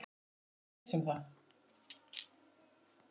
Ég var viss um það.